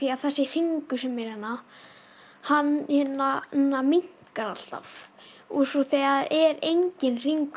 þessi hringur sem er hérna hann minnkar alltaf svo þegar er enginn hringur